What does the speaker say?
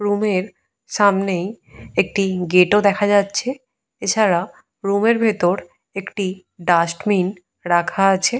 রুমের সামনেই একটি গেট ও দেখা যাচ্ছে। এছাড়া রুমে র ভেতর একটি ডাস্টবিন রাখা আছে।